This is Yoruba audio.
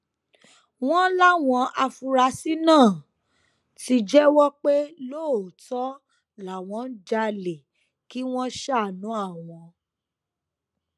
wọn láwọn afurasí náà ti jẹwọ pé lóòótọ làwọn ń jalè kí wọn ṣàánú àwọn